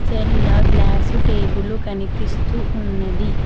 తెల్ల glass table కనిపిస్తూ ఉన్నది.